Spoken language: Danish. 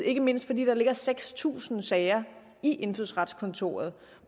ikke mindst fordi der ligger seks tusind sager i indfødsretskontoret